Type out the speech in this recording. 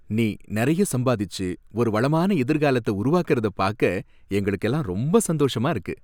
நீ நறைய சம்பாதிச்சு ஒரு வளமான எதிர்காலத்தை உருவாக்கறத பாக்க எங்களுக்கெல்லாம் ரொம்ப சந்தோஷமா இருக்கு.